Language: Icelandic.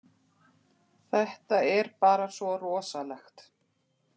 Þetta er bara svo rosalegt